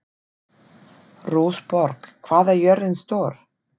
Rósborg, hvað er jörðin stór?